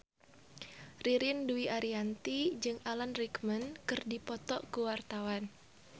Ririn Dwi Ariyanti jeung Alan Rickman keur dipoto ku wartawan